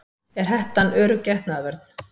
Er hettan örugg getnaðarvörn?